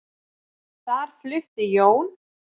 Þar flutti Jón